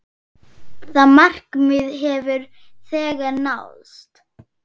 Það markmið hefur þegar náðst.